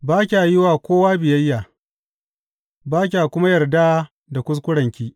Ba kya yi wa kowa biyayya, ba kya kuma yarda da kuskurenki.